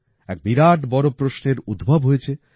এক বিরাট বড় প্রশ্নের উদ্ভব হয়েছে